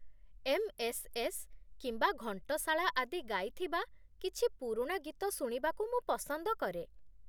MSS. କିମ୍ବା ଘଣ୍ଟଶାଳା ଆଦି ଗାଇଥିବା କିଛି ପୁରୁଣା ଗୀତ ଶୁଣିବାକୁ ମୁଁ ପସନ୍ଦ କରେ।